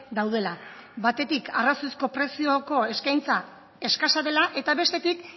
daudela batetik arrazoizko prezioko eskaintza eskasa dela eta bestetik